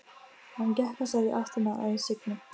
Hann gekk af stað í áttina að Signu.